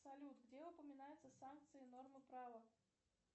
салют где упоминаются санкции нормы права